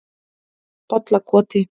Bollakoti